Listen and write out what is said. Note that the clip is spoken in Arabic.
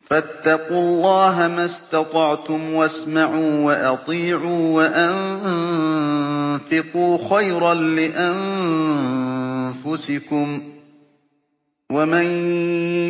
فَاتَّقُوا اللَّهَ مَا اسْتَطَعْتُمْ وَاسْمَعُوا وَأَطِيعُوا وَأَنفِقُوا خَيْرًا لِّأَنفُسِكُمْ ۗ وَمَن